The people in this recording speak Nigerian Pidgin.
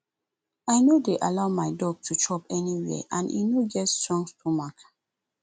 i no dey allow my dog to chop anyhow and e no get strong stomach